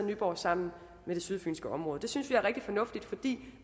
nyborg sammen med det sydfynske område det synes vi er rigtig fornuftigt fordi